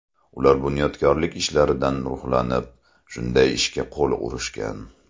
Ular bunyodkorlik ishlaridan ruhlanib, shunday ishga qo‘l urishgan.